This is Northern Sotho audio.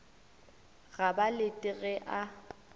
ga ba lete ge a